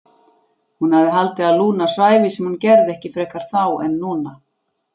Hún hafði haldið að Lúna svæfi sem hún gerði ekki frekar þá en núna.